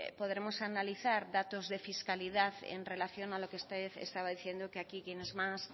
podremos analizar datos de fiscalidad en relación a lo que usted estaba diciendo que aquí quienes más